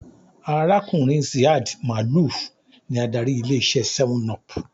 Arákùnrin Ziad Maalouf ní adarí ilé iṣé 7up